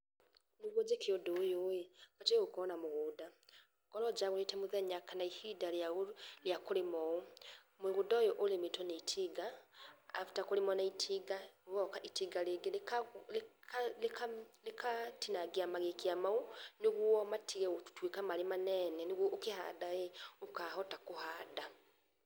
Nĩguo njĩke ũndũ uyu batie gũkorwo na mũgunda, ngorwo njagũrĩte mũthenya kana ihĩnda rĩa kũrĩma uu mũgũnda ũyu ũrĩmĩtwo nĩ itinga after kũrĩmwo nĩ itinga, gũgoka itinga rĩngi rĩkatinangĩa magĩkĩa maũ nĩguo matige gũtĩika marĩ manene, nĩguo ũkĩhanda ũkahota kũhanda.